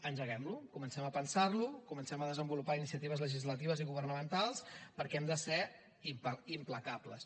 engeguem lo comencem a pensar lo comencem a desenvolupar iniciatives legislatives i governamentals perquè hem de ser implacables